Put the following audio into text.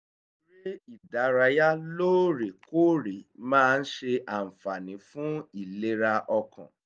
eré ìdárayá lóòrè kóòrè máa ń ṣe àǹfààní fún ìlera ọkàn